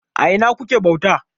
A ina kuke bauta?